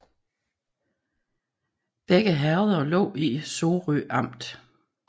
Begge herreder lå i Sorø Amt